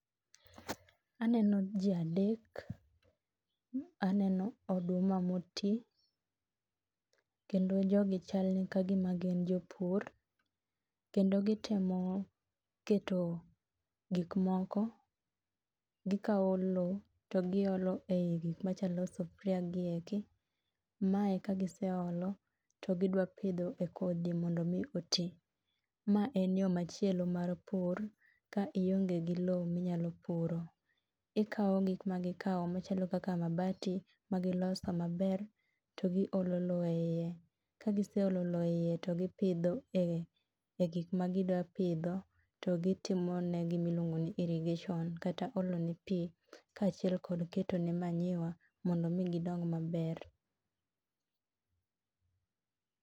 Aneno ji adek. Aneno oduma moti, kendo jogi chalni ka gima gin jopur kendo gitemo keto gikmoko, gikawo lo to giolo e gik machalo sufria gi eki. Mae kagiseolo to gidwa pidho e kodhi mondo omi oti. Ma en yo machielo mar pur ka ionge gi lo minyalo puro. Ikawo gik magikawo machalo kaka mabati magiloso maber to giolo lo e iye. Kagiseolo lo e iye to gipidho e gik magidapidho to gitimone gima iluongo ni irrigation kata olone pi kaachiel kod ketone manyiwa mondo omi gidong maber.